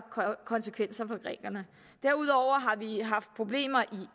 konsekvenser for grækerne derudover har vi haft problemer